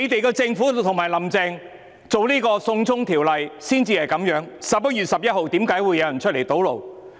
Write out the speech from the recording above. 是政府及"林鄭"推出"送中條例 "，11 月11日為何有人出來堵路？